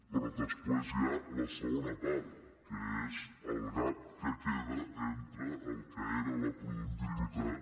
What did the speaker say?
però després hi ha la segona part que és el gap que queda entre el que era la productivitat